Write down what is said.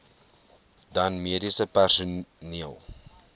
dan mediese personeel